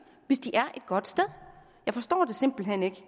hvis de er et godt sted jeg forstår det simpelt hen ikke